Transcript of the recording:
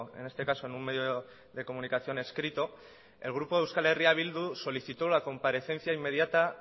en este caso en un medio de comunicación escrito el grupo euskal herria bildu solicitó la comparecencia inmediata